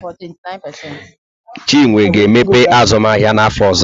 Chinwe ga-emepe azụmahịa n'afọ ọzọ.